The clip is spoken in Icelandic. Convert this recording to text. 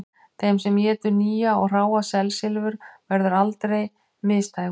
Þeim sem étur nýja og hráa selslifur verður aldrei misdægurt